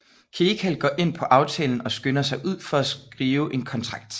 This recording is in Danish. Kecal går ind på aftalen og skynder sig ud for at skrive en kontrakt